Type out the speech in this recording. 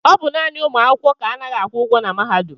ọ bụ naanị ụmụ akwụkwọ ka anaghị akwụ ụgwọ na mahadum